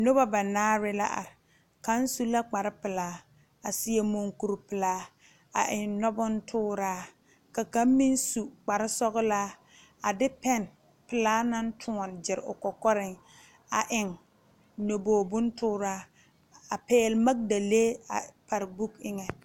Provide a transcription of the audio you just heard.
Nobɔ banaare la are kaŋ su la kparepelaa a seɛ munkurepilaa a eŋ nɔ bontooraa ka kaŋ me su kparesɔglaa a de pɛn pelaa naŋ tóɔne gyire o kɔkɔreŋ a eŋ nyobogre bontooraa a pɛgle magdalee pare bɔɔk eŋɛ.